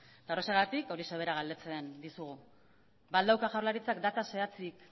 eta horrexegatik horixe bera galdetzen dizugu ba al dauka jaurlaritzak data zehatzik